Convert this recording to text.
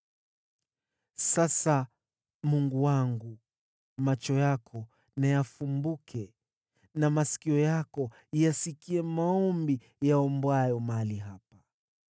“Sasa, Mungu wangu, macho yako na yafumbuke na masikio yako yasikie maombi yaombwayo mahali hapa.